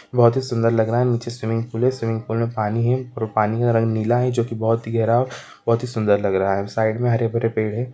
बहोत ही सूंदर लग रहा है नीचे स्विमिंग पूल है स्विमिंग पूल में पानी है और पानी का रंग नीला है जो की बहोत ही गहरा और बहोत ही सूंदर लग रहा है साइड में हरे-भरे पेड़ है।